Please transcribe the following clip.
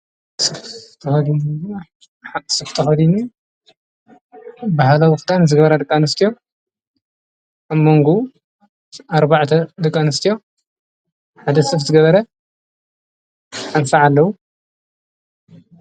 ተዲኒ ብህላዉፍታን ዝገበረ ድቃንስትዮ ኣመንጉ ኣርባዕተ ድቃንስትዮ ሓደ ስፍ ዝገበረ ኣንሣዓ ኣለዉ።